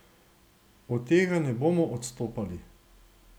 Od tega ne bomo odstopali.